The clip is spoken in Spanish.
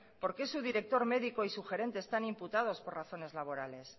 porque su director médico y su gerente están imputados por razones laborables